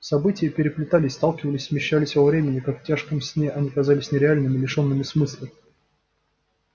события переплетались сталкивались смещались во времени как в тяжком сне они казались нереальными лишёнными смысла